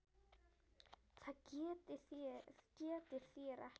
BJÖRN: Það getið þér ekki.